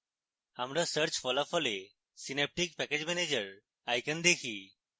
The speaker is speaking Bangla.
আমরা search ফলাফলে synaptic package manager icon দেখি